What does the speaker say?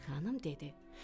Çik-çik xanım dedi: